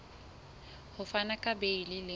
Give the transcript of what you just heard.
ho fana ka beile le